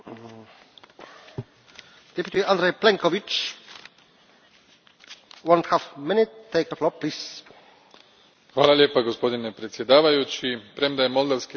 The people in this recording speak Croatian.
Gospodine predsjedniče, premda je moldavski narod izrazio svoju ambiciju da se više približi EU u, zbog niza korupcijskih skandala u posljednje vrijeme i izostanka reformi